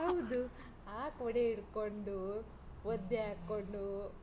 ಹೌದು, ಆ ಕೊಡೆ ಹಿಡ್ಕೊಂಡು, ಒದ್ದೆಆಗ್ಕೊಂಡು.